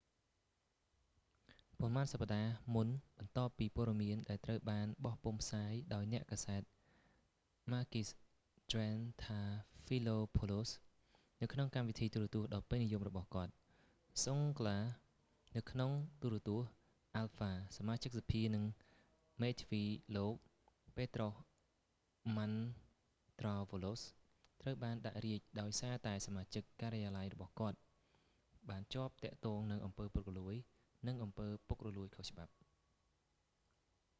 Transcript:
ប៉ុន្មានសប្តាហ៍មុនបន្ទាប់ពីព័ត៌មាន ដែលត្រូវបានបោះពុម្ពផ្សាយ ដោយអ្នកកាសែត ម៉ាគីស ត្រៀនថាហ្វីឡូផោលូស makis triantafylopoulos នៅក្នុងកម្មវិធីទូរទស្សន៍ដ៏ពេញនិយមរបស់គាត់ សុងហ្គ្លា zoungla នៅក្នុងទូរទស្សន៍ អាល់ហ្វា alpha សមាជិកសភា និងមេធាវីលោក ពេត្រុស ម៉ាន់ត្រោវ៉ាឡូស petros mantouvalos ត្រូវបានដាក់រាជ្យដោយសារតែសមាជិក ការិយាល័យរបស់ គាត់បានជាប់ទាក់ទងនឹងអំពើពុករលួយ និងអំពើពុករលួយខុសច្បាប់